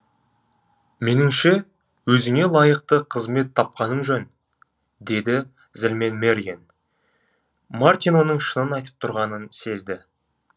меніңше өзіңе лайықты қызмет тапқаның жөн деді зілмен мэриен мартин оның шынын айтып тұрғанын сезді